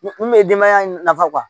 Mun bɛ denbaya in nafa